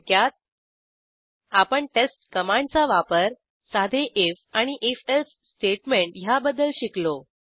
थोडक्यात आपण टेस्ट कमांडचा वापर साधे आयएफ आणि आयएफ एल्से स्टेटमेंट ह्याबद्दल शिकलो